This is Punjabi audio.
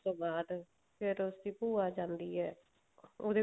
ਉਸ ਤੋਂ ਬਾਅਦ ਫ਼ੇਰ ਉਸਦੀ ਭੂਆ ਜਾਂਦੀ ਹੈ ਉਹਦੇ